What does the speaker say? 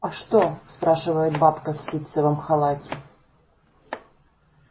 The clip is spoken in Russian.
а что спрашивает бабка в ситцевом халате